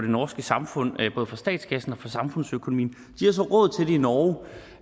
norske samfund både for statskassen og for samfundsøkonomien de har så råd til det i norge